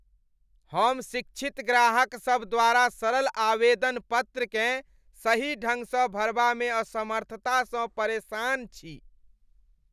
हम शिक्षित ग्राहकसभ द्वारा सरल आवेदन पत्रकेँ सही ढङ्गसँ भरबामे असमर्थतासँ परेशान छी।